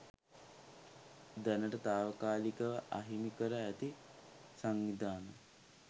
දැනට තාවකාලිකව අහිමි කර ඇති සංවිධාන